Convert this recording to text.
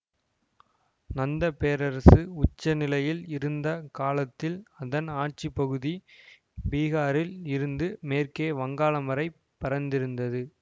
நந்த பேரரசு உச்ச நிலையில் இருந்த காலத்தில் அதன் ஆட்சிப்பகுதி பீகாரில் இருந்து மேற்கே வங்காளம் வரை பரந்திருந்தது